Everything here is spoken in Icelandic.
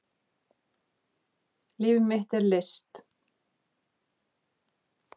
Líf mitt í list